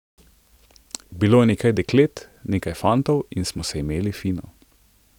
Bilo je nekaj deklet, nekaj fantov in smo se imeli fino.